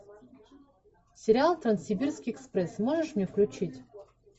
сериал транссибирский экспресс можешь мне включить